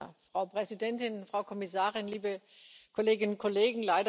Frau Präsidentin, Frau Kommissarin, liebe Kolleginnen und Kollegen!